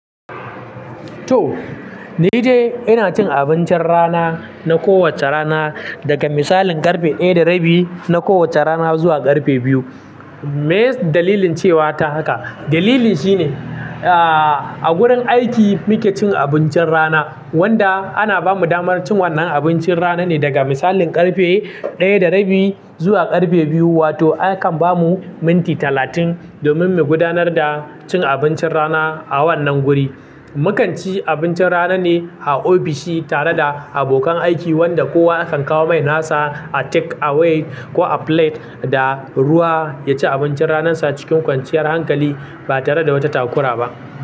To, ni dai ina cin abincin rana na kowacce rana daga misalin karfe daya rabi na kowacce rana zuwa karfe biyu Me dalilin cewa ta haka? Dalilin shine, ah, a gurin aiki muke cin abincin rana wanda ana bamu damar cin wannan abincin rana ne daga misalin karfe daya da rabi zuwa karfe biyu wato akan bamu minti talatin domin mu gudanar da cin abincin rana a wannan guri. Mu kan ci abincin rana ne a ofishi tare da abokan aiki wanda kowa akan kawo mai nasa a take away ko a plate da ruwa ya ci abincin ranansa cikin kwanciyar hankali ba tare da wata takura ba.